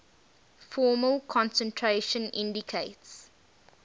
formal concentration indicates